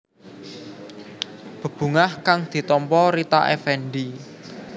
Bebungah kang ditampa Rita Effendy